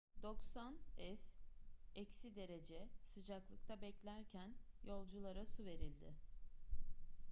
90f-derece sıcaklıkta beklerken yolculara su verildi